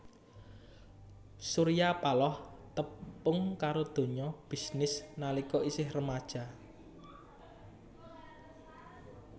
Surya Paloh tepung karo donya bisnis nalika isih remaja